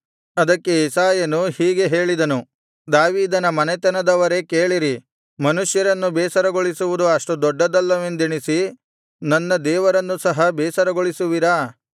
ಅದಕ್ಕೆ ಯೆಶಾಯನು ಹೀಗೆ ಹೇಳಿದನು ದಾವೀದನ ಮನೆತನದವರೇ ಕೇಳಿರಿ ಮನುಷ್ಯರನ್ನು ಬೇಸರಗೊಳಿಸುವುದು ಅಷ್ಟು ದೊಡ್ಡದಲ್ಲವೆಂದೆಣಿಸಿ ನನ್ನ ದೇವರನ್ನು ಸಹ ಬೇಸರಗೊಳಿಸುವಿರಾ